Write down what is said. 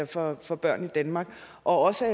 for for børn i danmark og også